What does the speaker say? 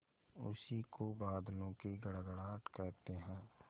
उसी को बादलों की गड़गड़ाहट कहते हैं